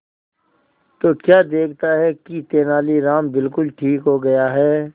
तो क्या देखता है कि तेनालीराम बिल्कुल ठीक हो गया है